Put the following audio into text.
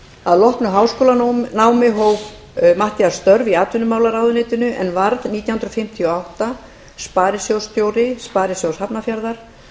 að loknu háskólanámi hóf matthías störf í atvinnumálaráðuneytinu en varð nítján hundruð fimmtíu og átta sparisjóðsstjóri sparisjóðs hafnarfjarðar